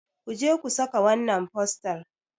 ku je ku saka wannan fostar!